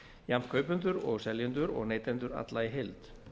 jafnt kaupendur og seljendur og neytendur alla í heild